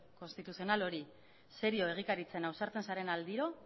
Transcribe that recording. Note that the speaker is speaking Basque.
konstituzional hori serio egikaritzen ausartzen zaren aldiro